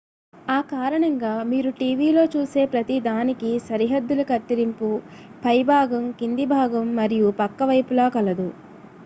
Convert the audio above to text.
ఆ కారణంగా మీరు టీవీలో చూసే ప్రతిదానికీ సరిహద్దుల కత్తిరింపు పైభాగం కిందిభాగం మరియు పక్క వైపులా కలదు